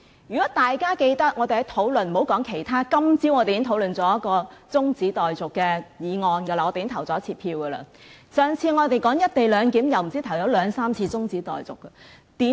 如果大家記得我們的辯論過程，莫說其他，今天早上我們已討論一項中止待續議案並進行表決，而上次我們討論"一地兩檢"時也提出兩三次中止待續議案。